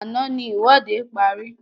Àná ní ìwọ́de parí